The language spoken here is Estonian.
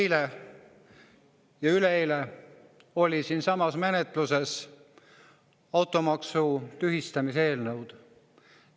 Eile ja üleeile olid siinsamas menetluses automaksu tühistamise eelnõud.